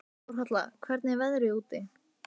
Þórhalla, hvernig er veðrið úti?